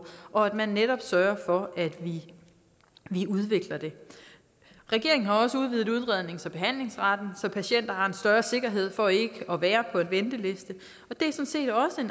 og at man netop sørger for at vi udvikler det regeringen har også udvidet udredningens og behandlingsretten så patienter har en større sikkerhed for ikke at være på en venteliste